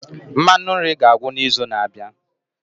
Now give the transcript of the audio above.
Mmanụ nri ga-agwụ n'izu na-abịa.